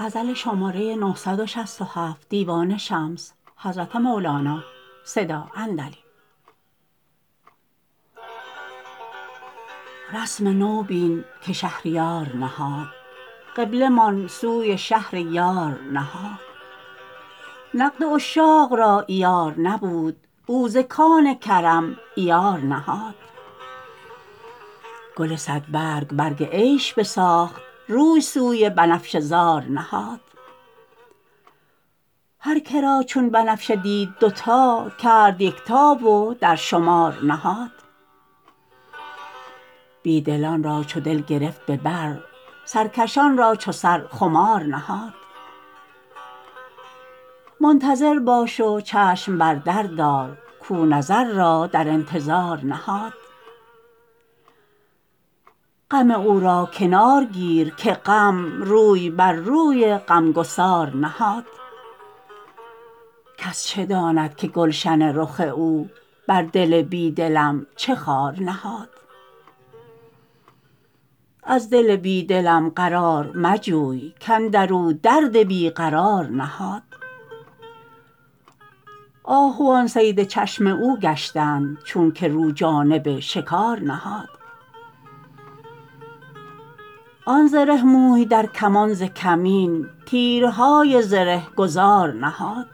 رسم نو بین که شهریار نهاد قبله مان سوی شهر یار نهاد نقد عشاق را عیار نبود او ز کان کرم عیار نهاد گل صدبرگ برگ عیش بساخت روی سوی بنفشه زار نهاد هر که را چون بنفشه دید دوتا کرد یکتا و در شمار نهاد بی دلان را چو دل گرفت به بر سرکشان را چو سر خمار نهاد منتظر باش و چشم بر در دار کو نظر را در انتظار نهاد غم او را کنار گیر که غم روی بر روی غمگسار نهاد کس چه داند که گلشن رخ او بر دل بی دلم چه خار نهاد از دل بی دلم قرار مجوی کاندر او درد بی قرار نهاد آهوان صید چشم او گشتند چونک رو جانب شکار نهاد آن زره موی در کمان ز کمین تیرهای زره گذار نهاد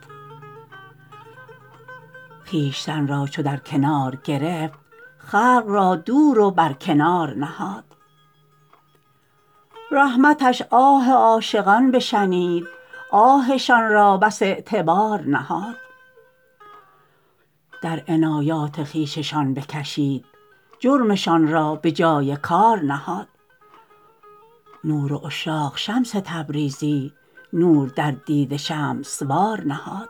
خویشتن را چو در کنار گرفت خلق را دور و برکنار نهاد رحمتش آه عاشقان بشنید آهشان را بس اعتبار نهاد در عنایات خویششان بکشید جرمشان را به جای کار نهاد نور عشاق شمس تبریزی نور در دیده شمس وار نهاد